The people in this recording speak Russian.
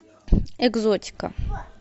экзотика